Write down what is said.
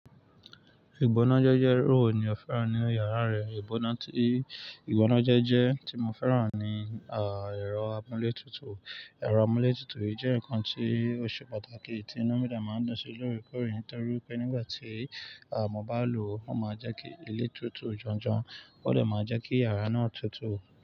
Ìgbónájẹ́jẹ́ irúwo ní ọ̀fẹ́ràn nínu yàrá rẹ̀, igbona ti. Ìgbónájẹ́jẹ́ tí mo fẹ́ràn ni, ẹ̀rọ amúlé tutù. Ẹ̀rọ amúlé tutù yìí jẹ́ nǹkan tí òṣe pàtàkì tí inu mí de máa ń dún sí lórekóre nitorí wipé nígbà tí, à, mo bá lò ó, ó máa jẹ́ kí ilé tutù janjan, ó dè máa jẹ́ kí yàrá náà tutù.